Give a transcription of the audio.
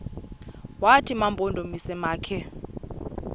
wathi mampondomise makhe